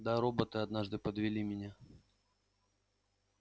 да роботы однажды подвели меня